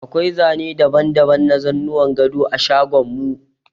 Akwai zane daban-daban na zanuwan gado a shagon mu.